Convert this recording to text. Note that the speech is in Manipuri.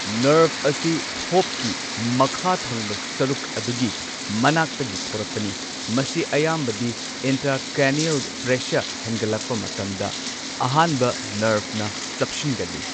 ꯅꯔꯚ ꯑꯁꯤ ꯊꯣꯞꯀꯤ ꯃꯈꯥ ꯊꯪꯕ ꯁꯔꯨꯛ ꯑꯗꯨꯒꯤ ꯃꯅꯥꯛꯇꯒꯤ ꯊꯣꯔꯛꯄꯅ, ꯃꯁꯤ ꯑꯌꯥꯝꯕꯗꯤ ꯏꯟꯇ꯭ꯔꯥꯀ꯭ꯔꯦꯅ꯭ꯌꯦꯜ ꯄ꯭ꯔꯦꯁꯔ ꯍꯦꯟꯒꯠꯂꯛꯄ ꯃꯇꯝꯗ ꯑꯍꯥꯟꯕ ꯅꯔ꯭ꯚꯅ ꯆꯞꯁꯤꯟꯒꯜꯂꯤ꯫